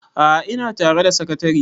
a'a ina tare da sakatare